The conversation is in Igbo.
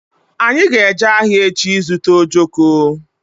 Anyị ga-eje ahịa echi ịzụta ojoko